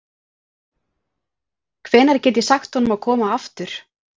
Hvenær get ég sagt honum að koma aftur?